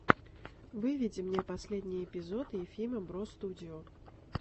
выведи мне последний эпизод ефима бростудио